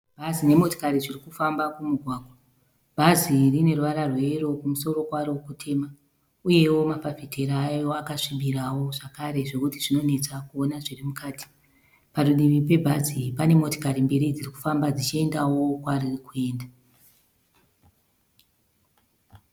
Bhazi nemotokari zvirikufamba kumugwagwa. Bhazi rine ruvara rweyero kumusoro kwaro kutema. Uyewo mafafitera ayo akasvibira zvakare zvekuti zvinonetsa kuona zviri mukati. Parudivi pebhazi pane motokari mbiri dzirikufamba dzichiendawo kwariri kuenda.